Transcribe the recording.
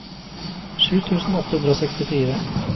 sju tusen åtte hundre og sekstifire